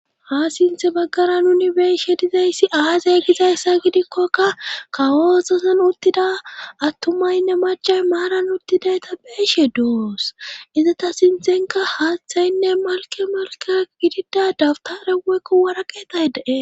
Ha sinthe baggara nuni beeshe dizayssi aazay gizayssa gidikkoka kawososan uttida attumaynne macay maaran uttidayta beeshe do7os iza ta sinthenka haaththaynne malke malke gidida dabta reweekko waraqeetay dee.